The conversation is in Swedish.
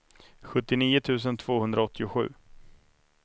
sjuttionio tusen tvåhundraåttiosju